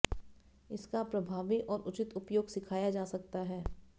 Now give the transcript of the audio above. इसका प्रभावी और उचित उपयोग सिखाया जा सकता है